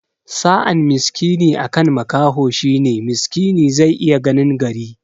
Sa'an miskini akan makaho shine miskini zai iya ganin gari